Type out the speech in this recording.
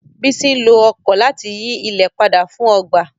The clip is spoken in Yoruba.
Bísí nló ọ̀kọ̀ láti yí ilẹ̀ padà fún ọgba.